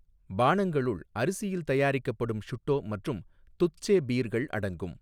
பானங்களுள் அரிசியில் தயாரிக்கப்படும் ஷுட்டோ மற்றும் துத்சே பீர்கள் அடங்கும்.